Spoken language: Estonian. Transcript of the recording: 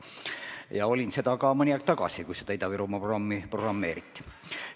Ma olin seal ka mõni aeg tagasi, kui seda Ida-Virumaa programmi kavandati.